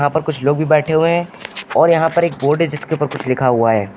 यहां पर कुछ लोग भी बैठे हुए हैं और यहां पर एक बोर्ड है जिसपे कुछ लिखा हुआ है।